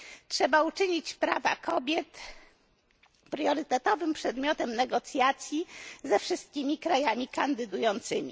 Trzeba uczynić prawa kobiet priorytetowym przedmiotem negocjacji ze wszystkimi krajami kandydującymi.